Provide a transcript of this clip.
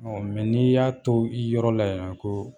n'i y'a to i yɔrɔ la yan ko